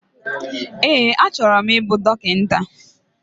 Ee, achọrọ m ịbụ dọkịta.